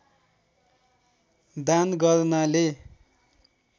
दान गर्नाले